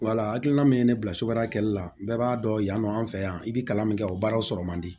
Wala hakilina min ye ne bila so kɛli la bɛɛ b'a dɔn yan nɔ an fɛ yan i bɛ kalan min kɛ o baaraw sɔrɔ man di